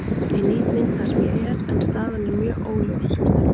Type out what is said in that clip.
Ég nýt mín þar sem ég er, en staðan er mjög óljós sem stendur.